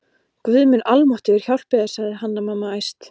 Guð minn almáttugur hjálpi þér, sagði Hanna-Mamma æst